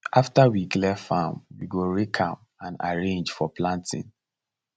after we clear farm we go rake am and arrange for planting